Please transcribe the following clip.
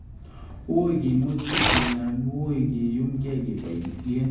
Uuy kimuchi ki iyaanyuun keyuumke kebayisyen